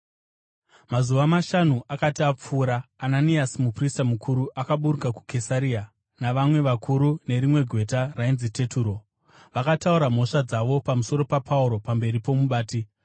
Mazuva mashanu akati apfuura, Ananiasi muprista mukuru akaburuka kuKesaria navamwe vakuru nerimwe gweta rainzi Teturo, vakataura mhosva dzavo pamusoro paPauro pamberi pomubati.